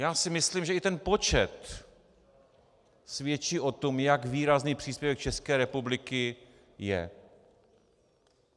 Já si myslím, že i ten počet svědčí o tom, jak výrazný příspěvek České republiky je.